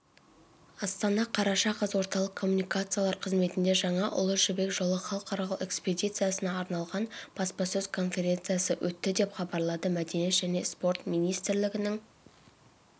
астана қараша қаз орталық коммуникациялар қызметінде жаңа ұлы жібек жолы халықаралық экспедициясына арналған баспасөз-конференция өтті деп хабарлады мәдениет және спорт министрлігінің